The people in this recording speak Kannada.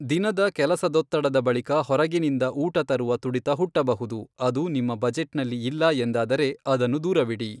ದಿನದ ಕೆಲಸದೊತ್ತಡದ ಬಳಿಕ ಹೊರಗಿನಿಂದ ಊಟ ತರುವ ತುಡಿತ ಹುಟ್ಟಬಹುದು, ಅದು ನಿಮ್ಮ ಬಜೆಟ್ನಲ್ಲಿ ಇಲ್ಲ ಎಂದಾದರೆ, ಅದನ್ನು ದೂರವಿಡಿ.